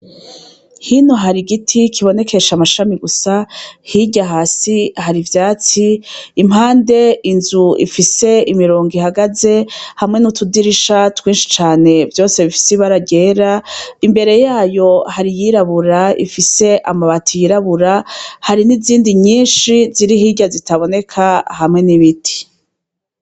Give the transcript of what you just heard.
Hino hari igiti kibonekesha amashami gusa, hirya hasi hari ivyatsi, impande inzu ifise imirongo ihagaze, hamwe n'utudirisha twinshi cane vyose bifise ibara ryera, imbere yayo hari iyirabura ifise amabati yirabura hari n'izindi nyinshi ziri hirya zitaboneka hamwe n'ibiti.